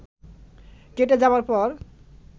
কেটে যাবার পর